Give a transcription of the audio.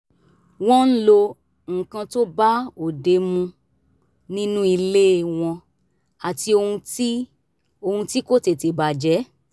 wọ́n ń lo nǹkan tó bá òde mu nínú ilé wọn àti ohun tí ohun tí kò tètè bàjẹ́